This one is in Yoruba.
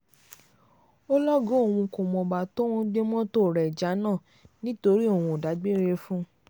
ó lọ́gàá òun kò mọ̀gbà tóun gbé mọ́tò rẹ̀ jánà nítorí òun kò dágbére fún un